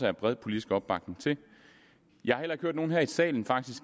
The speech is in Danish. er bred politisk opbakning til jeg har heller ikke hørt nogen her i salen